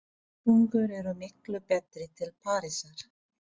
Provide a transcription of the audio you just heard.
Samgöngur eru miklu betri til Parísar.